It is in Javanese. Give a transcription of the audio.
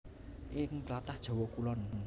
Ing tlatah Jawa Kulon